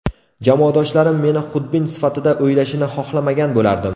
Jamoadoshlarim meni xudbin sifatida o‘ylashini xohlamagan bo‘lardim.